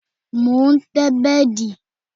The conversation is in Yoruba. Mo ń tẹ́ bẹ́dì